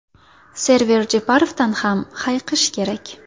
Server Jeparovdan ham hayiqish kerak.